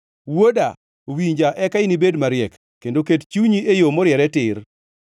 Wuoda, winja, eka inibed mariek, kendo ket chunyi e yo moriere tir.